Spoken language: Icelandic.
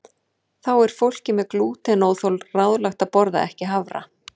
Þá er fólki með glútenóþol ráðlagt að borða ekki hafra.